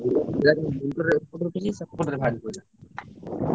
।